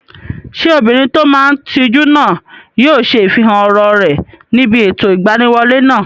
Ṣé obìnrin tó máa n tijú náà yóò ṣe ifihàn ọ̀rọ̀ rẹ̀ níbi ètò ìgbaniwọlé náà?